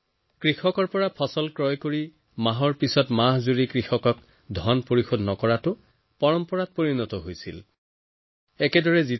কৃষকৰ পৰা ফচল ক্ৰয় কৰা মাহৰ পিছত মাহ ধনাদায় নকৰিবা হয়তো মাকৈ কিনোতাই বছৰ বছৰ ধৰি চলি অহা সেই পৰম্পৰাকে পালন কৰিছিল